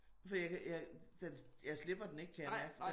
Fordi jeg kan jeg den jeg slipper den ikke kan jeg mærke